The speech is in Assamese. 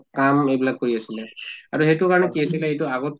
কাম এইবিলাক কৰি আছিলে আৰু সেইটো কাৰণে কি হৈছিলে এইটো আহত